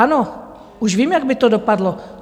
Ano, už vím, jak by to dopadlo.